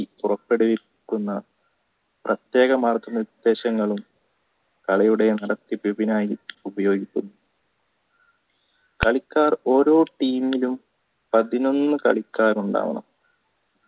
പുറപ്പെടുവിക്കുന്ന പ്രതേക മാർഗ്ഗ നിർദേശങ്ങളും കലയുടെ നടത്തിപ്പിനായി ഉപയോഗിക്കുന്നു കളിക്കാർ ഓരോ team മിലും പതിനൊന്ന് കളിക്കാരുണ്ടാവണ